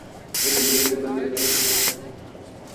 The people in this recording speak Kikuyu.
Nĩ ndũmĩrĩri irĩkũ cia Facebook?